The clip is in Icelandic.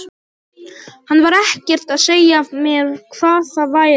Hann var ekkert að segja mér hvað það væri.